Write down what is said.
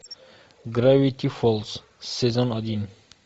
гравити фолз сезон один